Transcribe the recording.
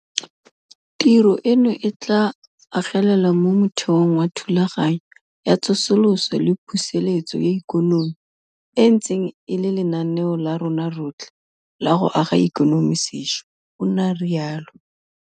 "Tiro eno e tla agelela mo motheong wa Thulaganyo ya Tsosoloso le Pusetso ya Ikonomi, e e ntseng e le lenaneo la rona rotlhe la go aga ikonomi sešwa," o ne a rialo.